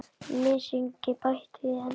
Mysingi bætt við í endann.